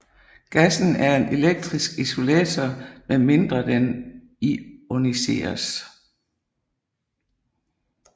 Gassen er en elektrisk isolator med mindre den ioniseres